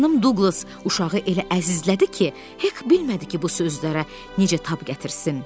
Xanım Duqlas uşağı elə əzizlədi ki, Hek bilmədi ki, bu sözlərə necə tab gətirsin.